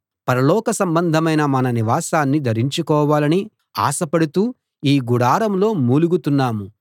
పరలోక సంబంధమైన మన నివాసాన్ని ధరించుకోవాలని ఆశపడుతూ ఈ గుడారంలో మూలుగుతున్నాం